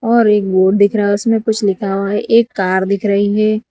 और एक बोर्ड दिख रहा है उसमें कुछ लिखा हुआ है एक कार दिख रही है।